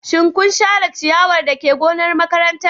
Shin kun share ciyawa dake gonar makaranta?